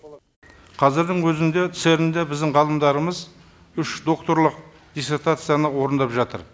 қазірдің өзінде церн де біздің ғалымдарымыз үш докторлық диссертацияны орындап жатыр